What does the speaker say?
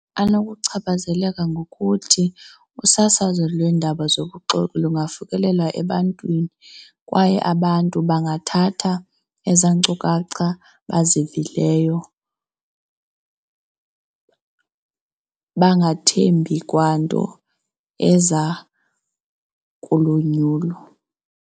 Anokuchaphazeleka ngokuthi usasazo lweendaba zobuxoki lungafikelela ebantwini kwaye abantu bangathatha ezaa nkcukacha bazivileyo bangathembi kwanto eza kulonyulo.